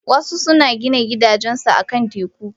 Wasu suna gina gidajensu akan teku.